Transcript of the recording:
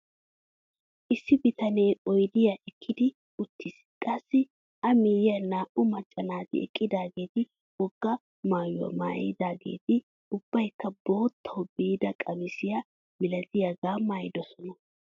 Issi bitanee oydiyaa ekkidi uttis qassi a miyiyaan naa"u macca naati eqidaageti wogaa maayuwaa maayidageti ubbaykka boottawu biida qamisiyaa milatiyaagaa maayidosona.